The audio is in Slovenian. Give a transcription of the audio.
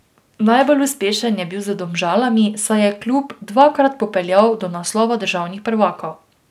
Najbolj uspešen je bil z Domžalami, saj je klub dvakrat popeljal do naslova državnih prvakov.